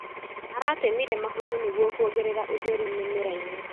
Aratemire mahuti nĩguo kuongerera ũtheri mĩmerainĩ.